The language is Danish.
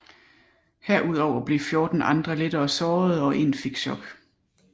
Herudover blev 14 andre lettere sårede og en fik shock